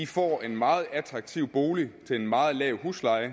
får en meget attraktiv bolig til en meget lav husleje